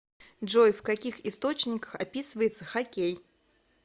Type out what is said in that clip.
джой в каких источниках описывается хоккей